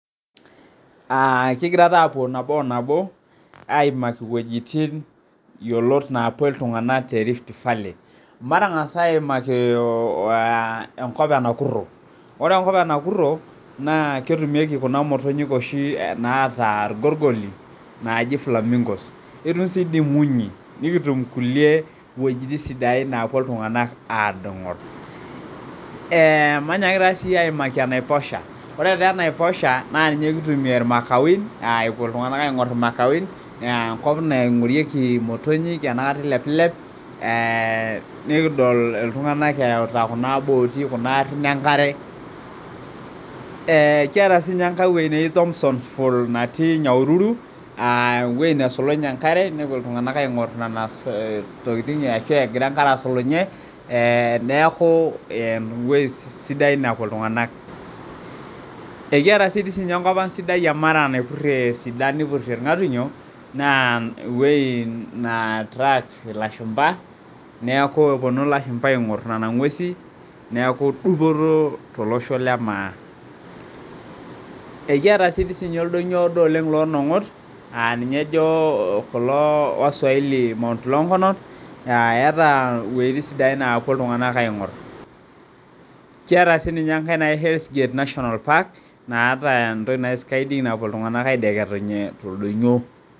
Aa kigira taa aapuo nabo o nabo aimaki imwuejitin yiolot naapuo iltunganak te Rift Valley Matang'as aimaki engop e Nakurho, ore enkop e Nakurho ketumieki kuna motonyik oshi naata irgorgoli naaji flamingo etum sii dii imunyi nikitum kulie wuejitin sidain naapuo iltunganak aadol Ee manyaki taa siiyie aimaki enaiposha , ore taa enaiposha naa ninye kitumie ilmakawin epuo iltunganak aingoru ilmakawin aa enkop naingorieki imotonyi enakata ilepilep Eeh nikidol iltung'anak ereuta kuna booti kuna arhin engare Kiata siininye enkai wuei neji Thomson Fall natii Nyahururu ewuei nesukunye enkare nepuo iltung'anak aing'ur nena tokiting ashu egira enkare asulunye ee neeku ewuei sidai napuo iltung'anak Ekiata sii enkop ang' sidai e Mara naipurhie isidan nipurhie ilng'atunyo naa ewuei neattract ilashumba neeku epuonu ilashumba aing'ur nena ngwesi neeku dupoto tolosho le Maa Ekiata sii oldonyo oodo oleng' loolong'ot aa ninye ejo kulo waswahili Mt Longonot eeta iwuejitin sidain naapuo iltung'anak aing'ur Kiata siininye engae naji Hells Gate National Park naata entoki naji skiding napuo iltung'anak aideketunye toldonyio